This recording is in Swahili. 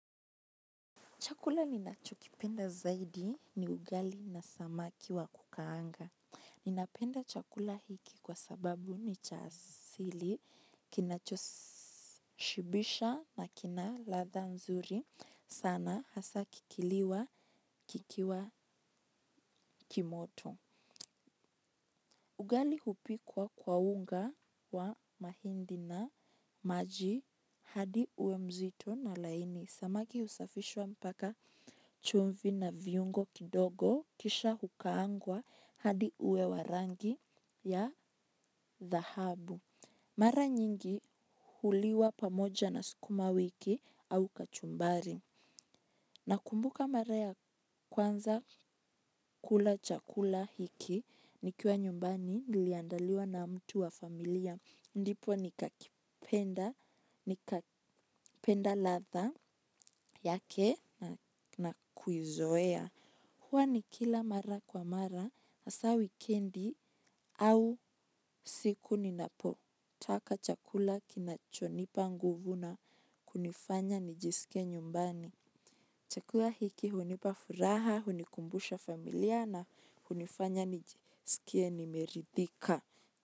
Chakula ninachokipenda zaidi ni ugali na samaki wa kukaanga ninapenda chakula hiki kwa sababu ni cha asili kinachoshibisha na kina ladha nzuri sana hasa kikiliwa kikiwa ki moto. Ugali hupikwa kwa unga wa mahindi na maji hadi uwe mzito na laini. Samaki husafishwa mpaka chumvi na viungo kidogo kisha hukaangwa hadi uwe wa rangi ya dhahabu mara nyingi huliwa pamoja na sukumawiki au kachumbari. Nakumbuka mara ya kwanza kula chakula hiki nikiwa nyumbani niliandaliwa na mtu wa familia. Ndipo nikakipenda, nikapenda ladha yake na kuizoea huwa nikila mara kwa mara, hasa wikendi au siku ninapo. Taka chakula kinachonipa nguvu na kunifanya nijisikie nyumbani. Chakula hiki hunipa furaha, hunikumbusha familia na hunifanya nijisikie nimeridhika.